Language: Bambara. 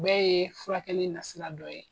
bɛɛ ye furakɛli nasira dɔ ye.